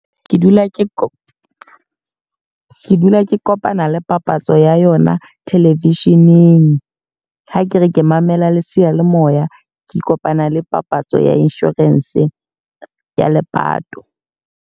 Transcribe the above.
Ke dula ke ko. Ke dula ke kopana le papatso ya yona television-eng, ha ke re ke mamela le seyalemoya ke kopana le papatso ya insurance ya lepato.